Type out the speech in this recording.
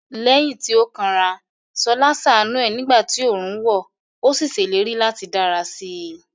Lẹ́yìn tí ó kanra, Ṣọlá ṣàánú ẹ̀ nígbà tí oòrùn wọ̀, ó sì ṣèlérí láti dára sí i.